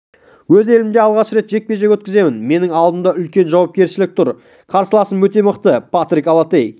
өз елімде алғаш рет жекпе-жек өткіземін менің алдымда үлкен жауапкершілік тұр қарсыласым өте мықты патрик аллотей